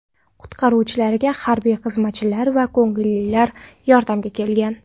Qutqaruvchilarga harbiy xizmatchilar va ko‘ngillilar yordamga kelgan.